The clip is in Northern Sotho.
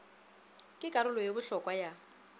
ke karolo ye bohlokwa ya